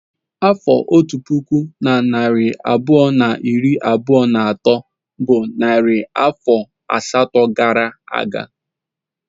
Afọ otu puku na narị abụọ na iri abụọ na atọ bụ narị afọ asatọ gara aga.